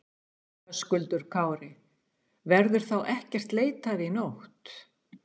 Höskuldur Kári: Verður þá ekkert leitað í nótt?